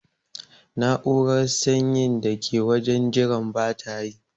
Na'urar sanyin da ke wajen jiran bata yi.